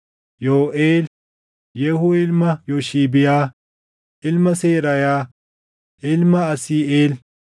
Yooʼeel, Yehuu ilma Yooshibiyaa, ilma Seraayaa, ilma Asiiʼeel,